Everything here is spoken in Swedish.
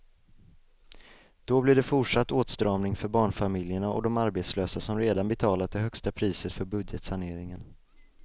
Då blir det fortsatt åtstramning för barnfamiljerna och de arbetslösa som redan betalat det högsta priset för budgetsaneringen.